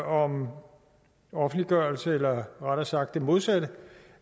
om offentliggørelse eller rettere sagt det modsatte